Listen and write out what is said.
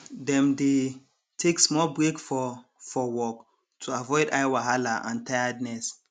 dem dey take small break for for work to avoid eye wahala and tiredness